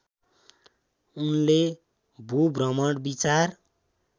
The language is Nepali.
उनले भूभ्रमण विचार